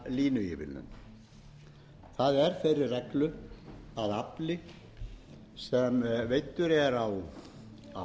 línuívilnun það er þeirri reglu að afli sem veiddur er á línu reiknast ekki að